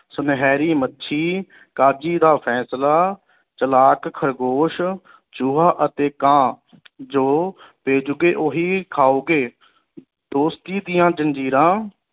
ਸੁਨਹਿਰੀ ਮੱਛੀ, ਕਾਜੀ ਦਾ ਫੈਸਲਾ, ਚਲਾਕ ਖ਼ਰਗੋਸ਼, ਚੂਹਾ ਅਤੇ ਕਾਂ ਜੋ ਬੀਜੋਗੇ ਓਹੀ ਖਾਓਗੇ ਦੋਸਤੀ ਦੀਆ ਜੰਜੀਰਾਂ